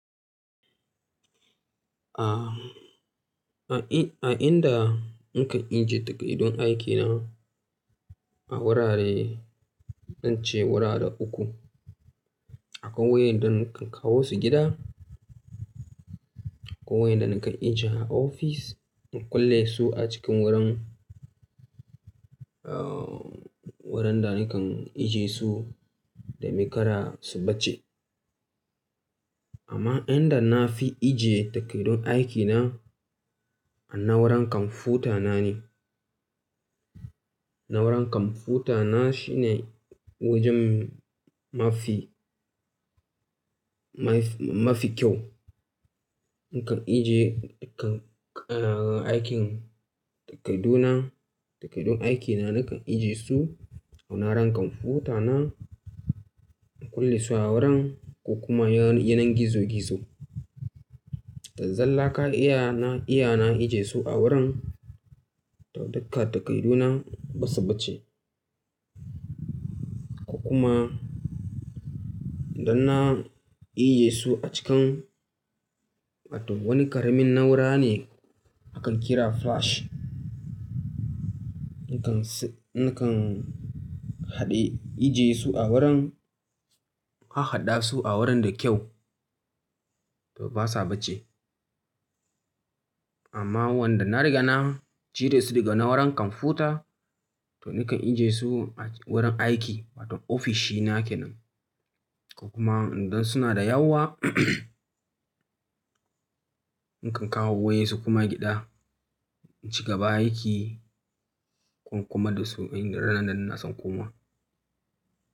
A, a in-- a inda nakan ajiye takardun aikina a wurare, zan ce wurare uku. Akwai waƴanda nakan kawo su gida, akwai waƴanda nakan ajiye a ofis, inv kulle su a cikin wurin, ah, wurin da nakan ajiye su domin kada su bacce. Amma inda na fi ajiye takardun aikina a na'uran kwamfutana ne. Na'uran kwamfutana shine wajen mafi, mafi kyau. Nakan ajiye, kan, aikin takardu na, takardun aikina nakan ajiye su a na'uran kwamfutana. Na kulle su a wurin ko kuma yanan gizo-gizo. To zalla kawai iya, na iya na ajiye su a wurin to dugga takardu nan ba su bacce. Kuma idan na ijiye su a cikin wani karamin na'ura ne akan kira flash. Nakan, nakan haɗe, ijiye su a wurin, hahhaɗa su a wurin da kyau to ba sa bacce. Amma wanda na riga na cire su daga na'uran kwamfuta to nakan ijiye su wurin aiki wato ofishi nake nan. Kuma idan suna da yawa nakan kawo wayensu kuma gida, ci gaba aiki ko kuma da su idan ranan na nason koma.